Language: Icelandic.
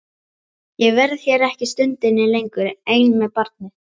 Ég verð hér ekki stundinni lengur ein með barnið.